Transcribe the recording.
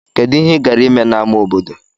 Kedu ihe ị gara ime n'ámá obodo?